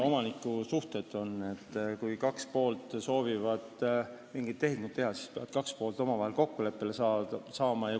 Omanikusuhted on sellised, et kui kaks poolt soovivad mingit tehingut teha, siis peavad kaks poolt omavahel kokkuleppele saama.